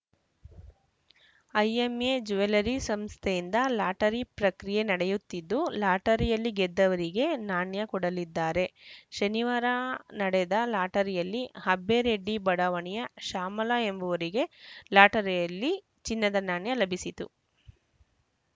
IMA jewellery ಸಂಸ್ಥೆಯಿಂದ lottery ಪ್ರಕ್ರಿಯೆ ನಡೆಯುತ್ತಿದ್ದು ಲಾಟರಿಯಲ್ಲಿ ಗೆದ್ದವರಿಗೆ ನಾಣ್ಯ ಕೊಡಲಿದ್ದಾರೆ ಶನಿವಾರ ನಡೆದ ಲಾಟರಿಯಲ್ಲಿ ಅಬ್ಬೆರೆಡ್ಡಿ ಬಡಾವಣೆಯ ಶ್ಯಾಮಲಾ ಎಂಬುವವರಿಗೆ ಲಾಟರಿಯಲ್ಲಿ ಚಿನ್ನದ ನಾಣ್ಯಲಭಿಸಿತು